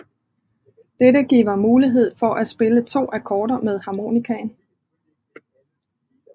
Dette giver mulighed for at spille to akkorder med harmonikaen